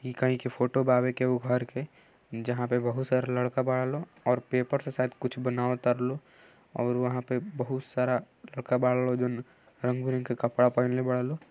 इ कही के फोटो बावे केहू के घर के जहां पे बहुत सारा लड़का बाड़ा लोग और पेपर से शायद कुछ बनाव तारा लोग और वहाँ पे बहुत सारा लड़का बाड़ा लोग जौन रंग बिरंग के कपड़ा पहिनले बाड़ा लोग।